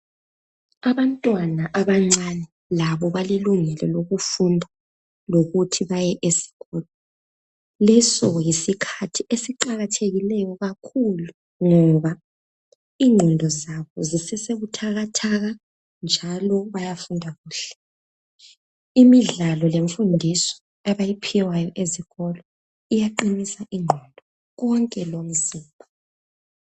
Abantwana abancane labo balelungelo lokufunda, lokuthi baye esikolo. Leso yisikhathi esiqakathekileyo kakhulu ngoba ingqondo zabo zisesebuthakathaka njalo bayafunda kuhle. Imidlalo lemfundiso abayiphiwayo ezikolo iyaqinisa ingqondo konke lomzimba.